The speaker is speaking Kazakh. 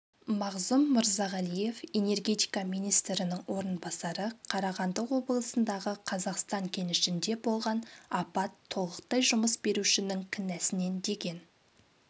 мағзұм мырзағалиев энергетика министрінің орынбасары қарағанды облысындағы қазақстан кенішінде болған апат толықтай жұмыс берушінің кінәсінен деген